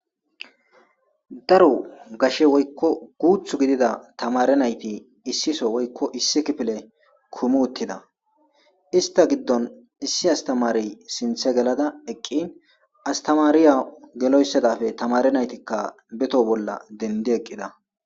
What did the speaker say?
Daro gashe woykko guuthu gidida tamare nayti issiso woykko issi kipile kumu uttida ista giddon issi astamari sinthe gelada eqqin astamariya geloysadafe tamare naytikka beto bolla dendi eqqida.